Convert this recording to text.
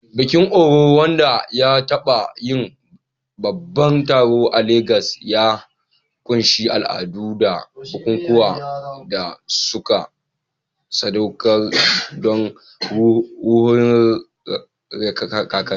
Bikin-orò, wanda ya taɓa yin babban taron a Legas, ya ƙunshi al'adu da bukukuwan da aka sadaukar don ruhohin kakanni.